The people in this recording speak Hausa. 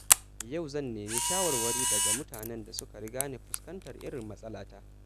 Yau zan nemi shawarwari daga mutanen da suka riga ni fuskantar irin matsalata.